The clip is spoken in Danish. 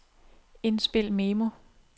indspil memo